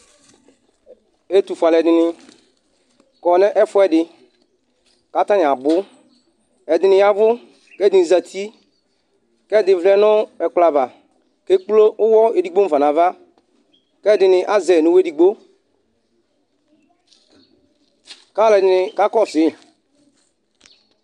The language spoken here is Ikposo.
Etu fue al'ɛdini kɔ nu ɛfuɛ di ka 'tani abu Ɛdi ni ya ʋu k'ɛdi ni zeti k'ɛdi ʋlɛ nu ekplɔ aʋa k'ekple uwɔ edigbo mu fa n'ava, k'ɛdi ni azɛ n'uwɔ edigbo k'al'ɛdi ni ka kɔsu'i